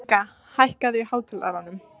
Móníka, hækkaðu í hátalaranum.